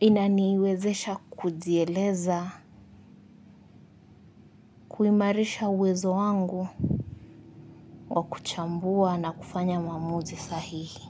Inaniwezesha kujieleza kuimarisha uwezo wangu wa kuchambua na kufanya maamuzi sahihi.